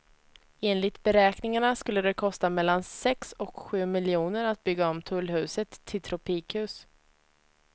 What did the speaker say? Enligt beräkningarna skulle det kosta mellan sex och sju miljoner att bygga om tullhuset till tropikhus.